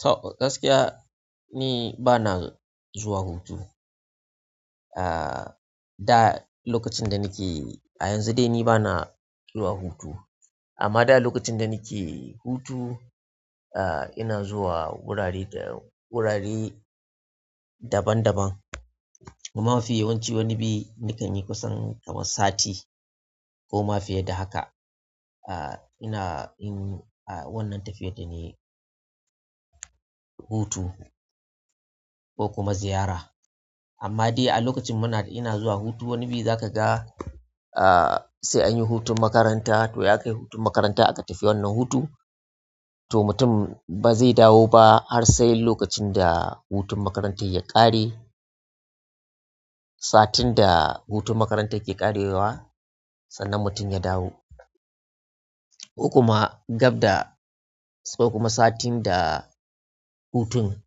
To gaskiya ni bana zuwa hutu. Ah, da lokacin da nake a yanzu dai ni bana zuwa hutu. Amma da lokacin da nake hutu, ah ina zuwa wurare dayau wurare daban-daban. Amma mafiye wanci wani bi nakan yi kusan kamar sati ko ma fiye da haka. Aa, ina yin wannan tafiyar da ne hutu ko kuma ziyara. Amma dai a lokacin muna ina zuwa hutu wani biyu za ka ga, ah sai anyi hutun makaranta toh ya kai hutun makaranta aka tafi wannan hutu. To nutum bazai dawo ba har sai lokacin da hutun makarantar ya ƙare satin da hutun makarantar ke ƙarewa sannan mutum ya dawo ko kuma gab da ko kuma satin da hutun